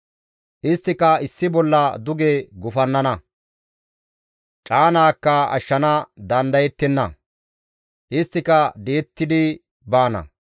Isttika issi bolla duge gufannana; caanaakka ashshana dandayettenna; isttika di7ettidi baana.